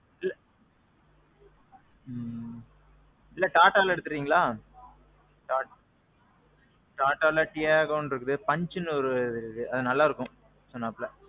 இல்ல. ம்ம். இல்ல Tataல எடுத்திறீங்களா? Tataல Tiagoனு இருக்கு, Punchனு ஒரு vehicle இருக்கு. அது நல்லா இருக்கும். சொன்னாப்புல.